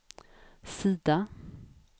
sida